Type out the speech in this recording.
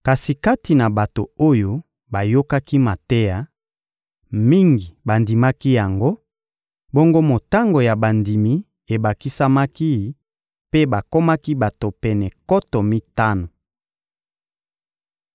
Kasi kati na bato oyo bayokaki mateya, mingi bandimaki yango; bongo motango ya bandimi ebakisamaki mpe bakomaki bato pene nkoto mitano.